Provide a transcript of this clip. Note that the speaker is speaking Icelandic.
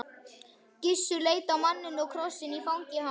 Gissur leit á manninn og krossinn í fangi hans.